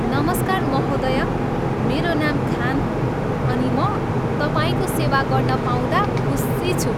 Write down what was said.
नमस्कार महोदया, मेरो नाम खान हो अनि म तपाईँको सेवा गर्न पाउँदा खुसी छु।